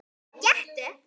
Gettu